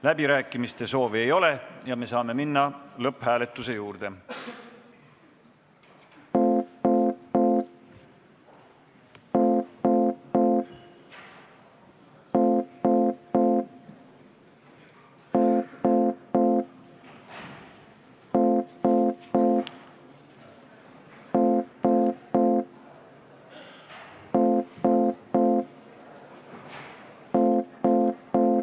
Läbirääkimiste soovi ei ole ja me saame minna lõpphääletuse juurde.